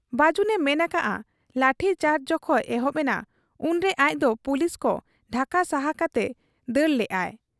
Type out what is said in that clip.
ᱵᱟᱹᱡᱩᱱᱮ ᱢᱮᱱ ᱟᱠᱟᱜ ᱟ ᱞᱟᱴᱷᱤ ᱪᱟᱨᱡᱽ ᱡᱚᱠᱷᱚᱱ ᱮᱦᱚᱵ ᱮᱱᱟ, ᱩᱱᱨᱮ ᱟᱡᱫᱚ ᱯᱩᱞᱤᱥᱠᱚ ᱰᱷᱟᱠᱟ ᱥᱟᱦᱟ ᱠᱟᱛᱮ ᱫᱟᱹᱲ ᱞᱮᱜ ᱟᱭ ᱾